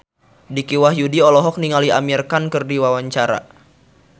Dicky Wahyudi olohok ningali Amir Khan keur diwawancara